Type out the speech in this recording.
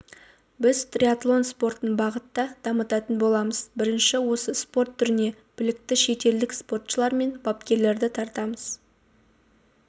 біз триатлон спортын бағытта дамытатын боламыз бірінші осы спорт түріне білікті шетелдік спортшылар мен бапкерлерді тартамыз